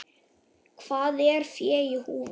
Hvað er fé í húfi?